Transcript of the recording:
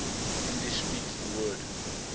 english speaking world